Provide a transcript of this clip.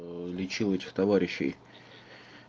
лечил этих товарищей